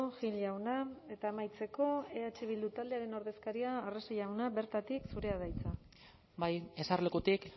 gil jauna eta amaitzeko eh bildu taldearen ordezkaria arrese jauna bertatik zurea da hitza bai ezerlekutik